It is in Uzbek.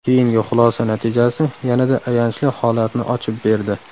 Keyingi xulosa natijasi yanada ayanchli holatni ochib berdi.